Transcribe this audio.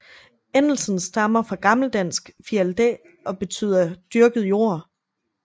Endelsen stammer fra gammeldansk Fialdæ og beytder dyrket jord